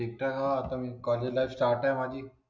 एकटा हाय आपण कॉलेजला स्टार्ट हे माझी